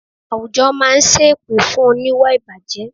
Àwùjọ máa ń sẹ́ èpè fún oníwà ìbàjẹ́